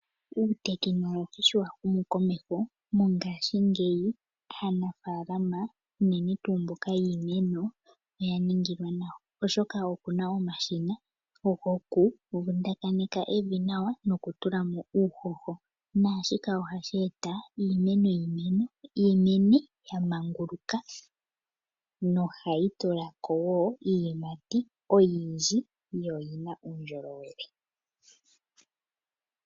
Uuteholohi sho wa humu komeho mongashingeyi aanafalama unene tuu mboka yiimeno oya ningilwa nawa. Oshoka opuna omashina gokuvundakaneka evi nawa nokutulamo uuhoho. Nashika ohashi eta iimeno yimene ya manguluka nohayi tulako wo iiyimati oyindji yo oyina uundjolowele.